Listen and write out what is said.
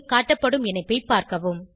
காட்டப்படும் இணைப்பை பார்க்கவும்